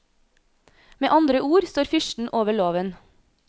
Med andre ord står fyrsten over loven.